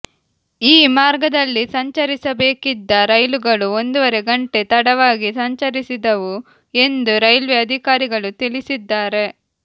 ಈ ಮಾರ್ಗದಲ್ಲಿ ಸಂಚರಿಸಬೇಕಿದ್ದ ರೈಲುಗಳು ಒಂದೂವರೆ ಗಂಟೆ ತಡವಾಗಿ ಸಂಚರಿಸಿದವು ಎಂದು ರೈಲ್ವೆ ಅಧಿಕಾರಿಗಳು ತಿಳಿಸಿದ್ದಾರೆ